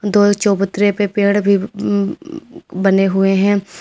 दो चबूतरे पे पेड़ भी उं उं बने हुए हैं।